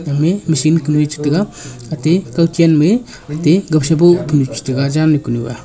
ame machine kunue chetaga ate kawchen me te gawsha boh punu chetega janu kunu a.